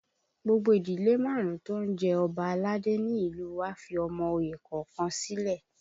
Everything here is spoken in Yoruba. Gbogbo ìdílé márùn-ún tó ń jẹ Ọba aládé ni ní ìlú u wa fi ọmọ oyè kọ̀ọ̀kan sílẹ̀